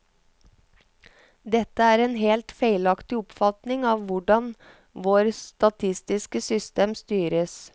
Dette er en helt feilaktig oppfatning av hvordan vårt statistiske system styres.